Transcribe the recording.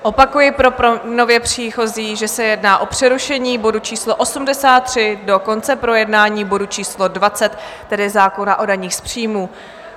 Opakuji pro nově příchozí, že se jedná o přerušení bodu číslo 83 do konce projednání bodu číslo 20, tedy zákona o daních z příjmů.